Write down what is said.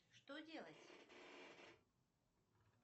что делать